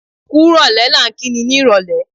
Kúrò lẹ́ ni à ń kí ni, ní ìrólé.